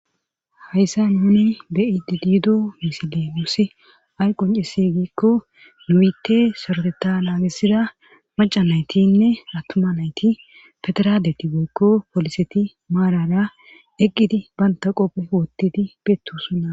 Hayssa nuni bei didiido misile muussi ay qon cisi giikko nuyitte soroteta naagissida maca naytinne attuma nayti pederadeti goykko poliseti maarara eqqidi banta qophe wottidi beettuusunna.